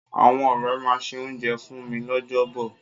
Àwọn ọ̀rẹ́ máa se oúnjẹ fún mi lọ́jọ́ bọ̀.